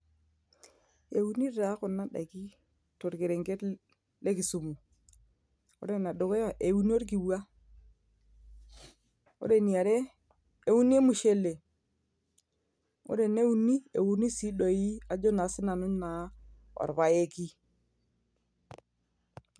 Euni taa kuna daiki torkerenket le kisumu. Ore ene dukuya, euni orkikua, ore eniare euni emushele, ore ene uni euni sii doi ajo naa sinanu naa orpaeki.